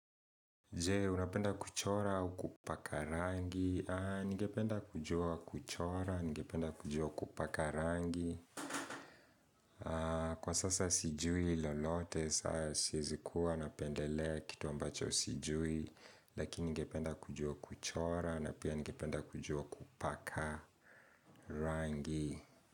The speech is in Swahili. Je, unapenda kuchora au kupaka rangi? Ningependa kujua kuchora, ningependa kujua kupaka rangi. Kwa sasa sijui lolote, sa siwezi kuwa napendelea kitu ambacho sijui, lakini ningependa kujua kuchora, na pia ningependa kujua kupaka rangi.